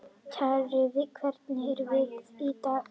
Kjarri, hvernig er veðrið í dag?